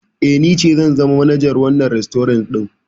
Eh, ni ce zan zama manajar wannan rastorant ɗin.